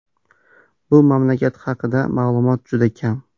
Bu mamlakat haqida ma’lumot juda kam.